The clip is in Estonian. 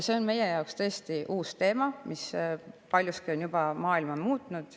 See on tõesti uus teema, mis paljuski on juba maailma muutnud.